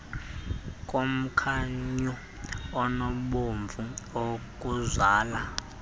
komkhunyu onobomvu okuzala